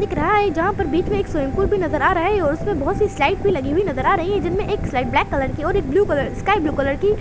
दिख रहा है जहाँ पर बिच में एक स्विमिंग पूल भी नज़र आ रहा है और उसमे बहुत सी स्लाइड भी लगी हुई नज़र आ रही है जिनमे एक स्लाइड ब्लैक कलर की और blue colour sky blue colour की